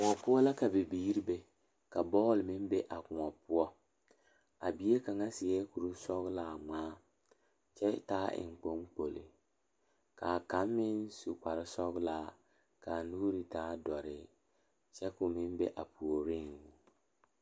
Dɔɔ kaŋa are la pegle bɔtuloŋ kaa pɔge are kaa zu waa pelaa su kpare ziɛ kaa bamine meŋ teɛ ba nuure kyɛ ba a wire ba nyɛmɛ.